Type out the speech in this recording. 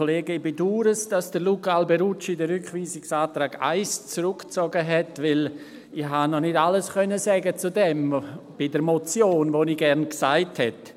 Ich bedaure, dass Luca Alberucci den Rückweisungsantrag 1 zurückgezogen hat, weil ich dazu im Rahmen der Motion noch nicht alles sagen konnte, was ich gern gesagt hätte.